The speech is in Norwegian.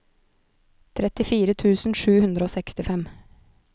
trettifire tusen sju hundre og sekstifem